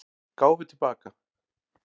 Gáfu til baka